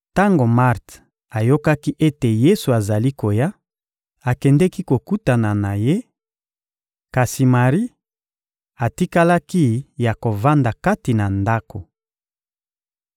Tango Marte ayokaki ete Yesu azali koya, akendeki kokutana na Ye; kasi Mari atikalaki ya kovanda kati na ndako.